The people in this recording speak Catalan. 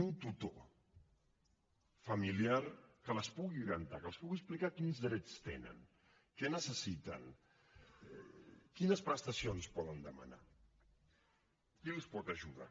un tutor familiar que les pugui orientar que els pugui explicar quins drets tenen què necessiten quines prestacions poden demanar qui els pot ajudar